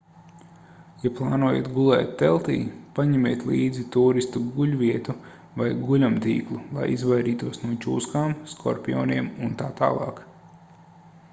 ja plānojat gulēt teltī paņemiet līdzi tūristu guļvietu vai guļamtīklu lai izvairītos no čūskām skorpioniem utt